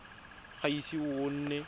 ga o ise o nne